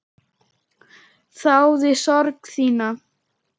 Þáði sorg þína.